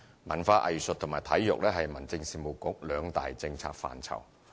文化藝術和體育是民政事務局兩大政策範疇。